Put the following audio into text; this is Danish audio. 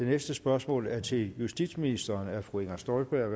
det næste spørgsmål er til justitsministeren af fru inger støjberg